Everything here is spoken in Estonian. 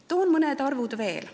Toon mõned arvud veel.